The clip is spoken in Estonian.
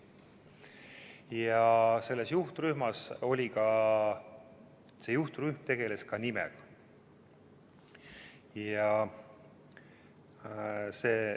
See juhtrühm tegeles ka nimega.